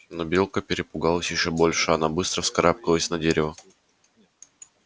но белка перепугалась ещё больше она быстро вскарабкалась на дерево